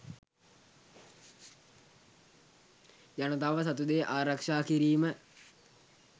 ජනතාව සතුදේ ආරක්ෂා කිරීම